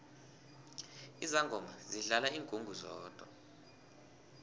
izangoma zidlala ingungu zodwa